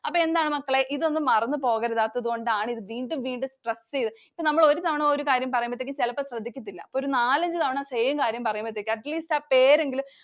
അപ്പൊ എന്താണ് മക്കളേ, ഇതൊന്നും മറന്നു പോകരുതാത്തതു കൊണ്ടാണ് വീണ്ടും വീണ്ടും stress ചെയ്തു. നമ്മള് ഒരു തവണ ഒരു കാര്യം പറയുമ്പോഴത്തേനും ചെലപ്പം ശ്രദ്ധിക്കത്തില്ല. അപ്പൊ ഒരു നാലഞ്ച് തവണ same കാര്യം പറയുമ്പോഴത്തേനും atleast ആ പേരെങ്കിലും.